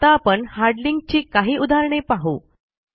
आता आपण hard link ची काही उदाहरणे पाहू